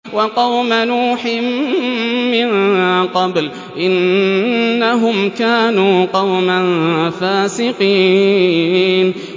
وَقَوْمَ نُوحٍ مِّن قَبْلُ ۖ إِنَّهُمْ كَانُوا قَوْمًا فَاسِقِينَ